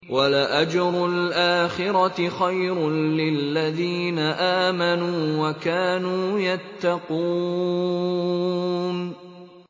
وَلَأَجْرُ الْآخِرَةِ خَيْرٌ لِّلَّذِينَ آمَنُوا وَكَانُوا يَتَّقُونَ